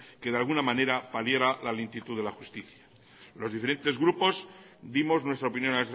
que de alguna manera paliara la lentitud de la justicia los diferentes grupos dimos nuestra opinión